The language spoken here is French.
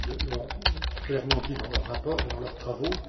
et M. Rohde l'ont clairement dit dans leur rapport et dans leurs travaux